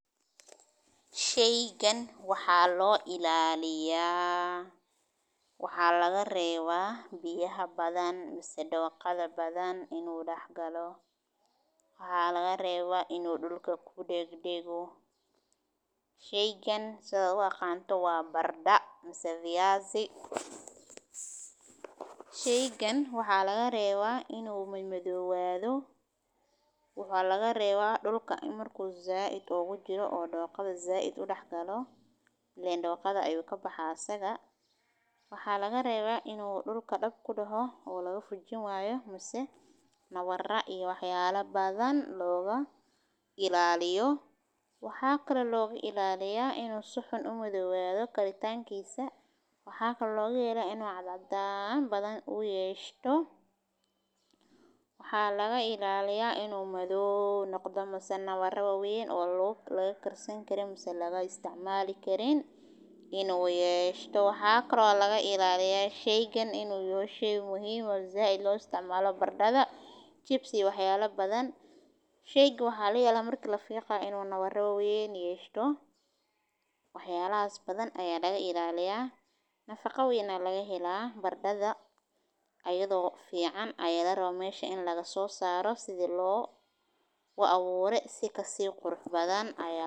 waxaana lagu beerayaa meelo badan oo caalamka ah, sida Yurub, Ameerika Waqooyi, iyo Aasiya, sababtoo ah waa cunto aad u macaan oo leh faa'iidooyin kala duwan oo caafimaad, sida inay ka kooban yihiin carbohydrate-ka, fiber-ka, fitamiino potassium-ka, iyo mineral-ka kale ee muhiimka ah, waxaana lagu kariyaa qaababo kala duwan, sida saliidda lagu shiilay, biyo la kariyey, la dubay, la mashiinka, ama la qasay, waxayna noqon kartaa qayb muhiim ah oo ka mid ah cuntada maalinlaha ah, sida canjeero baranbaha, ama baranbaha la kariyey oo lagu daro hilib iyo khudaar kale, baranbuhu wuxuu kaloo caawiyaa in la dhaqan geliyo beeraha sababtoo ah waa mid fudud oo sahlan oo lagu beero.